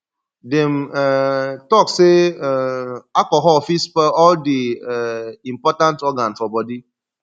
dem um talk sey um alcohol fit spoil all di um important organ for bodi